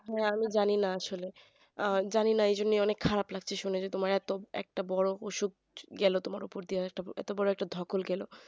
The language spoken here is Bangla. হ্যাঁ আমি জানিনা আসলে জানিনা এজন্য অনেক খারাপ লাগতেছে তোমার এত বড় একটা অসুখ গেল তোমার এত বড় একটা ধোকল গেল